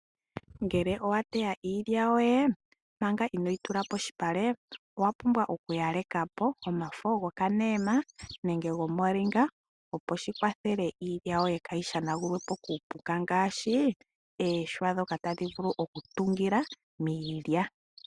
Ngele owateya iilya yoye, manga inooyi tula polupale, owa pumbwa okuyaleka po omafo go kaneema, nenge go molinga, opo shikwathele iilya yoye kaayi shanagulwepo kuupuka ngaashii, uuhwa mboka tawu vulu oku tungila miilya.